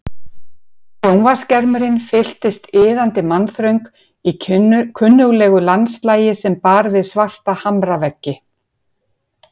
Sjónvarpsskermurinn fylltist iðandi mannþröng í kunnuglegu landslagi sem bar við svarta hamraveggi.